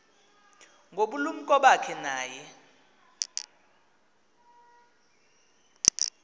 ngobulumko bakhe naye